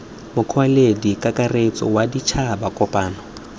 mokwaledi kakaretso wa ditšhaba kopano